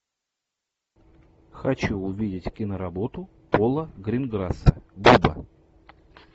хочу увидеть киноработу пола гринграсса буба